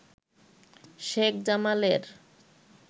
শেখ জামালের